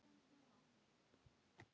Íra á nýjan leik.